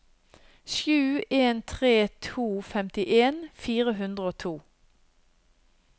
sju en tre to femtien fire hundre og to